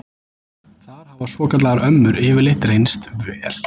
Þar hafa svokallaðar ömmur yfirleitt reynst vel.